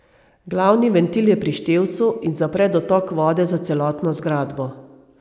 Glavni ventil je pri števcu in zapre dotok vode za celotno zgradbo.